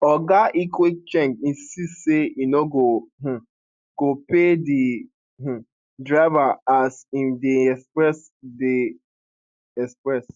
oga ikwechegh insist say e no um go pay di um driver and as im dey express dey express